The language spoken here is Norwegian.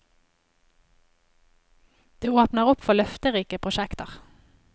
Det åpner opp for løfterike prosjekter.